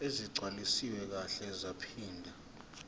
ezigcwaliswe kahle zaphinde